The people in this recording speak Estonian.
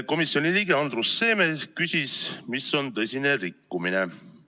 Komisjoni liige Andrus Seeme küsis, mis on tõsine rikkumine.